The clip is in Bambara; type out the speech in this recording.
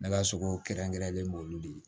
Ne ka so kɛrɛnkɛrɛnlen n b'olu de